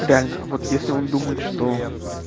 реально вот если он думает что